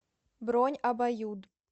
бронь абаюд